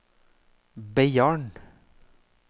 Beiarn